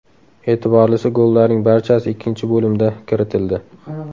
E’tiborlisi gollarning barchasi ikkinchi bo‘limda kiritildi.